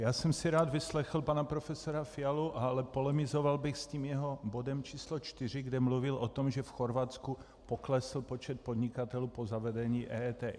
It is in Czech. Já jsem si rád vyslechl pana profesora Fialu, ale polemizoval bych s tím jeho bodem číslo 4, kde mluvil o tom, že v Chorvatsku poklesl počet podnikatelů po zavedení EET.